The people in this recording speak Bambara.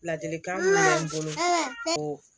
Ladilikan min bolo